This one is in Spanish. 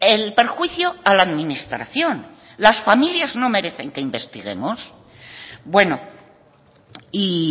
el perjuicio a la administración las familias no merecen que investiguemos bueno y